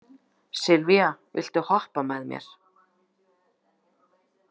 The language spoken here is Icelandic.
Sylvía, viltu hoppa með mér?